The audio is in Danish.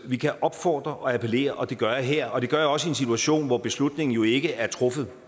vi kan opfordre og appellere og det gør jeg her og det gør jeg også i en situation hvor beslutningen jo ikke er truffet